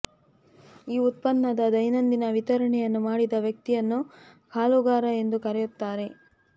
ಈ ಉತ್ಪನ್ನದ ದೈನಂದಿನ ವಿತರಣೆಯನ್ನು ಮಾಡಿದ ವ್ಯಕ್ತಿಯನ್ನು ಹಾಲುಗಾರ ಎಂದು ಕರೆಯುತ್ತಾರೆ